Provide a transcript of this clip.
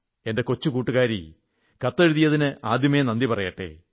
എന്റെ കൊച്ചു കൂട്ടുകാരീ കത്തെഴുതിയതിന് ആദ്യമേ നന്ദി പറയട്ടെ